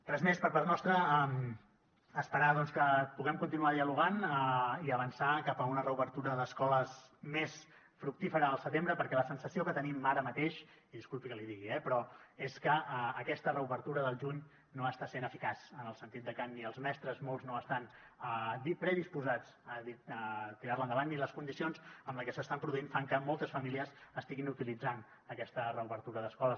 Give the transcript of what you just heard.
res més per part nostra esperar doncs que puguem continuar dialogant i avançar cap a una reobertura d’escoles més fructífera al setembre perquè la sensació que tenim ara mateix i disculpi que l’hi digui eh però és que aquesta reobertura del juny no està sent eficaç en el sentit de que ni els mestres molts no estan predisposats a tirarla endavant i les condicions en les que s’està produint fan que moltes famílies estiguin utilitzant aquesta reobertura d’escoles